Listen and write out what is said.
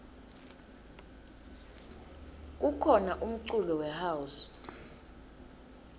kukhona umculo we house